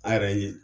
An yɛrɛ ye